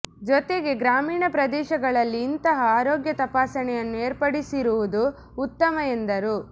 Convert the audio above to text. ಜೊತೆಗೆ ಗ್ರಾಮೀಣ ಪ್ರದೇಶಗಳಲ್ಲಿ ಇಂತಹ ಆರೋಗ್ಯ ತಪಾಸಣೆಯನ್ನು ಏರ್ಪಡಿಸಿರುವುದು ಉತ್ತಮ ಎಂದರು